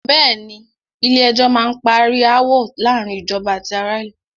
Bẹ̀ẹ́ni, Ilé ẹjọ́ má n parí aáwọ̀ láàárín ìjọba àti ará ìlú.